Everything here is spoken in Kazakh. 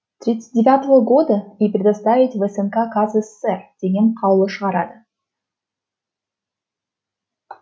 тридцать девятого года и предоставить в снк каз сср деген қаулы шығарады